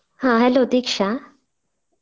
ಹಾ hello ದೀಕ್ಷಾ.